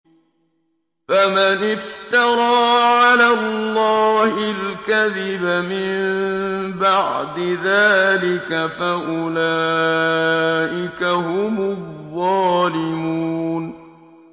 فَمَنِ افْتَرَىٰ عَلَى اللَّهِ الْكَذِبَ مِن بَعْدِ ذَٰلِكَ فَأُولَٰئِكَ هُمُ الظَّالِمُونَ